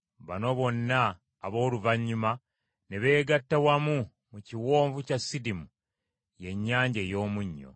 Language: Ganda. Bano bonna abooluvannyuma ne beegatta wamu mu kiwonvu kya Sidimu (y’Ennyanja ey’Omunnyo).